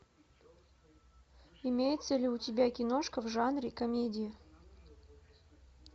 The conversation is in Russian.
имеется ли у тебя киношка в жанре комедии